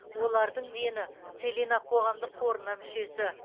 олардың дені целина қоғамдық қорына мүшесі